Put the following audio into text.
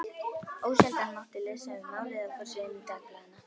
Ósjaldan mátti lesa um málið á forsíðum dagblaðanna.